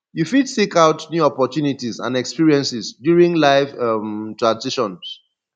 you fit seek out new opportunities and experiences during life um transitions